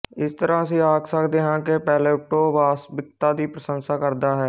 ਇਸ ਤਰ੍ਹਾਂ ਅਸੀਂ ਆਖ ਸਕਦੇ ਹਾਂ ਕਿ ਪਲੈਟੋ ਵਾਸਤਵਿਕਤਾ ਦੀ ਪ੍ਰਸ਼ੰਸਾ ਕਰਦਾ ਹੈ